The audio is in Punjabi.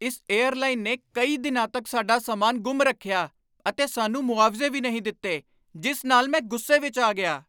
ਇਸ ਏਅਰਲਾਈਨ ਨੇ ਕਈ ਦਿਨਾਂ ਤੱਕ ਸਾਡਾ ਸਾਮਾਨ ਗੁੰਮ ਰੱਖਿਆ ਅਤੇ ਸਾਨੂੰ ਮੁਆਵਜ਼ੇ ਵੀ ਨਹੀਂ ਦਿੱਤੇ, ਜਿਸ ਨਾਲ ਮੈਂ ਗੁੱਸੇ ਵਿੱਚ ਆ ਗਿਆ।